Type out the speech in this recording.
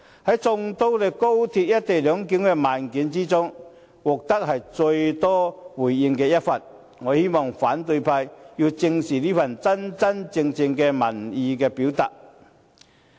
在眾多關於高鐵"一地兩檢"的問卷調查之中，這是獲得最多回應的一份，我希望反對派正視這份真真正正的民意表達。